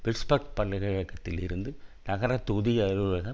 Pittsburgh பல்கலை கழகத்தில் இருந்து நகரதொகுதி அலுவலக